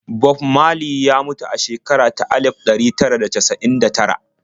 Bob Marley ya mutu a shekara ta alif ɗari tara da casa'in da tara.